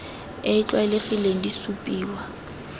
e e tlwaelegileng di supiwa